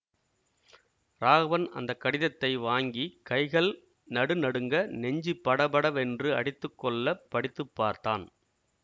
ராகவன் அந்த கடிதத்தை வாங்கி கைகள் நடு நடுங்க நெஞ்சு படபடவென்று அடித்து கொள்ள படித்து பார்த்தான்